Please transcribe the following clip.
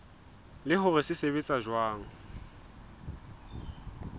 le hore se sebetsa jwang